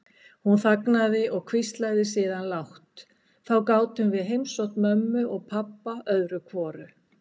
Hún þagnaði og hvíslaði síðan lágt: Þá gátum við heimsótt mömmu og pabba öðru hvoru.